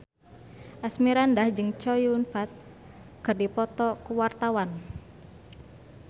Asmirandah jeung Chow Yun Fat keur dipoto ku wartawan